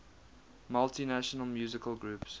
multinational musical groups